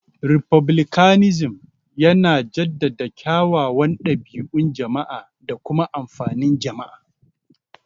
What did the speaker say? Refublicanism yana jaddada kyawawan dabi'un jama'a da kuma amfanin jama'a.